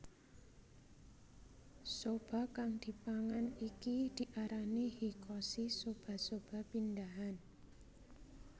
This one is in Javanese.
Soba kang dipangan iki diarani Hikkoshi soba soba pindahan